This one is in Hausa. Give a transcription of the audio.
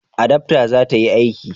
adaftan za ta yi aiki?